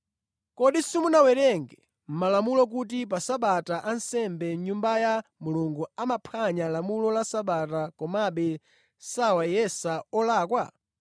Kodi simunawerenge mʼmalamulo kuti pa Sabata ansembe mʼNyumba ya Mulungu amaphwanya lamulo la Sabata komabe sawayesa olakwa?